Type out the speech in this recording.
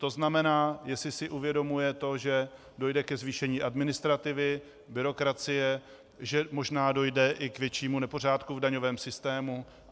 To znamená, jestli si uvědomuje to, že dojde ke zvýšení administrativy, byrokracie, že možná dojde i k většímu nepořádku v daňovém systému.